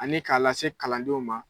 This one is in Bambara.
Ani k'a lase kalandenw ma